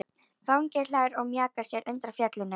Fanginn hlær og mjakar sér undan fjallinu.